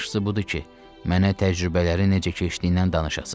Yaxşısı budur ki, mənə təcrübələriniz necə keçdiyindən danışasız.